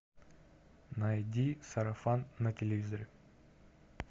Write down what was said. найди сарафан на телевизоре